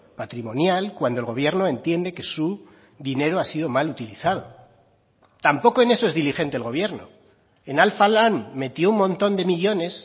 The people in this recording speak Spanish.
patrimonial cuando el gobierno entiende que su dinero ha sido mal utilizado tampoco en eso es diligente el gobierno en alfa lan metió un montón de millónes